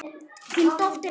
Þín dóttir Ásta.